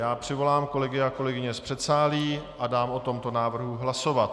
Já přivolám kolegy a kolegyně z předsálí a dám o tomto návrhu hlasovat.